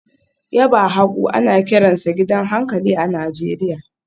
Yaba hagu ana kiransa gidan hankali a Najeriya